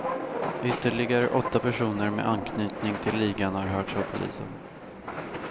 Ytterligare åtta personer med anknytning till ligan har hörts av polisen.